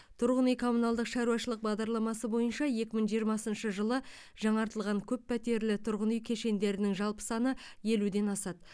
тұрғын үй коммуналдық шаруашылық бағдарламасы бойынша екі мың жиырмасыншы жылы жаңартылған көппәтерлі тұрғын үй кешендерінің жалпы саны елуден асады